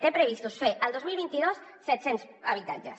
té previstos fer el dos mil vint dos set cents habitatges